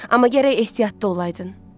Amma gərək ehtiyatlı olaydın.